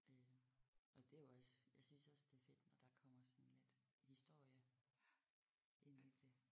Øh og det er jo også jeg synes også det er fedt når der kommer sådan lidt historie ind i det